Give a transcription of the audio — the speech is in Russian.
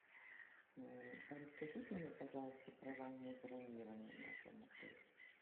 расскажите мне пожалуйста про раннее бронирование в нашем отеле